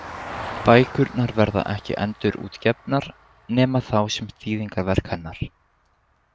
Bækurnar verða ekki endurútgefnar, nema þá sem þýðingarverk hennar.